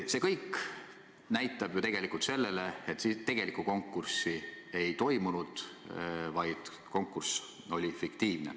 See kõik viitab ju tegelikult sellele, et tegelikku konkurssi ei toimunud, vaid konkurss oli fiktiivne.